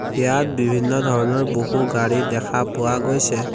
ইয়াত বিভিন্ন ধৰণৰ বহু গাড়ী দেখা পোৱা গৈছে।